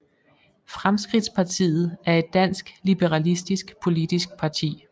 Fremskridtspartiet er et dansk liberalistisk politisk parti